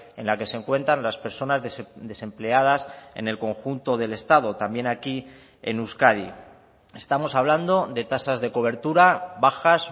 en la que se encuentran las personas desempleadas en el conjunto del estado también aquí en euskadi estamos hablando de tasas de cobertura bajas